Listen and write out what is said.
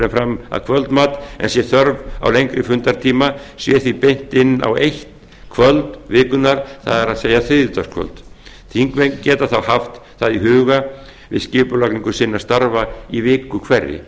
en fram að kvöldmat en sé þörf á lengri fundartíma sé því beint inn á eitt kvöld vikunnar það er þriðjudagskvöld þingmenn geta þá haft það í huga við skipulagningu starfa sinna í viku hverri